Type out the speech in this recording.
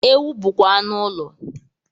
Ewu bụkwa anụ ụlọ